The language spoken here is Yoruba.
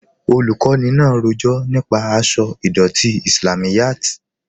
Olùkọni náà rọjọ̀ nípa àṣọ̀ idọ̀tí Islámíyàt.